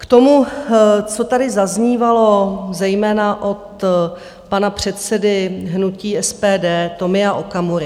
K tomu, co tady zaznívalo zejména od pana předsedy hnutí SPD Tomia Okamury.